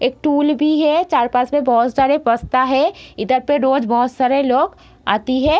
एक टूल भी है चार-पाँच में बहुत सारे है इधर पे रोज बहुत सारे लोग आती है।